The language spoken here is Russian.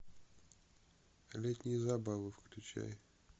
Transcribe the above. летние забавы включай